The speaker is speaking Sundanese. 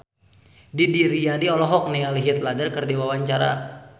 Didi Riyadi olohok ningali Heath Ledger keur diwawancara